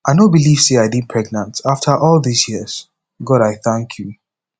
i no believe say i dey pregnant after all dis years god i thank you